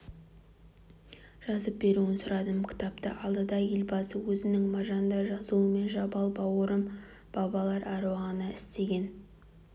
жазып беруін сұрадым кітапты алды да елбасы өзінің маржандай жазуымен жабал бауырым бабалар әруағына істеген